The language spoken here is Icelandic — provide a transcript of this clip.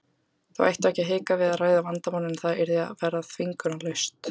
Þau ættu ekki að hika við að ræða vandamálin en það yrði að vera þvingunarlaust.